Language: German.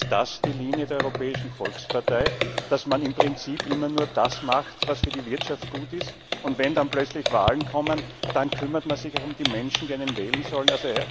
Ist das die Linie der Europäischen Volkspartei, dass man im Prinzip immer nur das macht, was für die Wirtschaft gut ist, und wenn dann plötzlich Wahlen kommen, dann kümmert man sich um die Menschen, die einen wählen sollen?